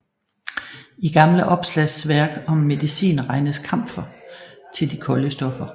I gamle opslagsværk om medicin regnes kamfer til de kolde stoffer